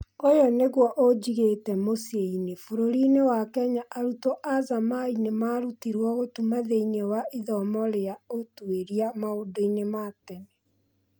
ũyũnĩguo ũnjigĩte mũcĩinĩ. Bũrũrinĩ wa Kenya arutwo azamai nĩmarutirwo gũtuma thĩiniĩ wa ithomo rĩa ũtwĩria maũndũi-nĩ ma tene.